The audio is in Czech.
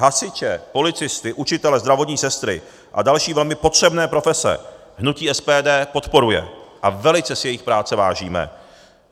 Hasiče, policisty, učitele, zdravotní sestry a další velmi potřebné profese hnutí SPD podporuje a velice si jejich práce vážíme.